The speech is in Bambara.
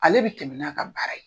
Ale bɛ tɛmɛ n'a ka baara ye.